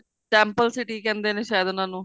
temple city ਕਹਿੰਦੇ ਨੇ ਸ਼ਾਇਦ ਉਹਨਾ ਨੂੰ